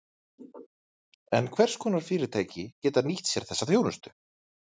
En hvers konar fyrirtæki geta nýtt sér þessa þjónustu?